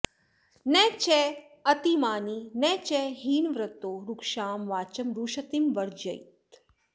न चातिमानी न च हीनवृत्तो रूक्षां वाचं रुशतीं वर्जयीत